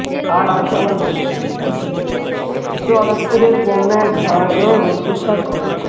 আর আছে আমার মনে সে হটাত করে বন্যার ভায়াবহ রুদ্ধ শ্বাস ঘটনা।